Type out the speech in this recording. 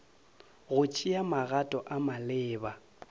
go tšea magato a maleba